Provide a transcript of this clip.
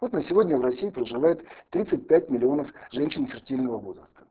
вот на сегодня в россии проживает тридцать пять миллионов женщин фертильного возраста